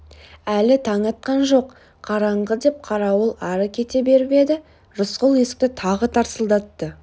әлі таң атқан жоқ қараңғы деп қарауыл ары кете беріп еді рысқұл есікті тағы тарсылдатты